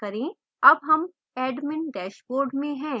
अब हम admin dashboard में हैं